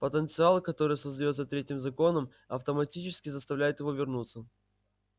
потенциал который создаётся третьим законом автоматически заставляет его вернуться